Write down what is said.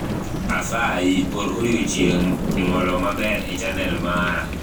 asayi or odiochieng' nyuolo maber echanel mara